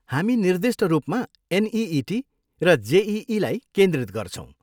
हामी निर्दिष्ट रूपमा एनइइटी र जेइईलाई केन्द्रित गर्छौँ।